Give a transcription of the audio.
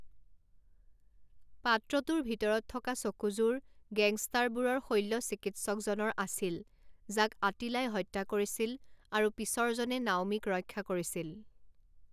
পাত্ৰটোৰ ভিতৰত থকা চকুযোৰ গেংষ্টাৰবোৰৰ শল্য চিকিৎসকজনৰ আছিল, যাক আটিলাই হত্যা কৰিছিল আৰু পিছৰজনে নাওমিক ৰক্ষা কৰিছিল।